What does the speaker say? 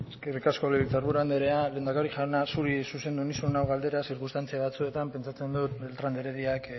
eskerrik asko legebiltzar buru andrea lehendakari jauna zuri zuzendu nizun hau galdera zirkunstantzia batzuetan pentsatzen dut beltran de herediak